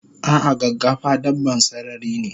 Ah ah gaggafa dabban sarari ne